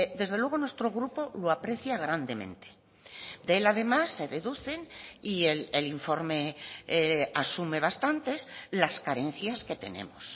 desde luego nuestro grupo lo aprecia grandemente de él además se deducen y el informe asume bastantes las carencias que tenemos